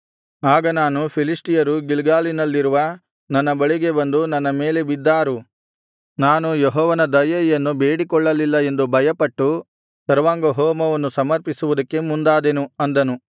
ಆಗ ನಾನು ಫಿಲಿಷ್ಟಿಯರು ಗಿಲ್ಗಾಲಿನಲ್ಲಿರುವ ನನ್ನ ಬಳಿಗೆ ಬಂದು ನನ್ನ ಮೇಲೆ ಬಿದ್ದಾರು ನಾನು ಯೆಹೋವನ ದಯೆಯನ್ನು ಬೇಡಿಕೊಳ್ಳಲಿಲ್ಲ ಎಂದು ಭಯಪಟ್ಟು ಸರ್ವಾಂಗಹೋಮವನ್ನು ಸಮರ್ಪಿಸುವುದಕ್ಕೆ ಮುಂದಾದೆನು ಅಂದನು